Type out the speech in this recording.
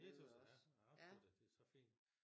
Det tys jeg ja jeg tror da det så fint